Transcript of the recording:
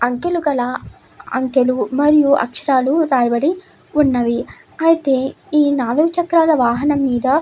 అంకెలుకల అంకెలు మరియు అక్షరాలు రాయబడి ఉన్నవి అయితే ఈ నాలుగు చక్రాల వాహనం మీద ఒక--